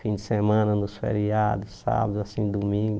Fim de semana, nos feriados, sábado, assim, domingo.